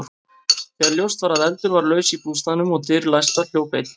Þegar ljóst var að eldur var laus í bústaðnum og dyr læstar, hljóp einn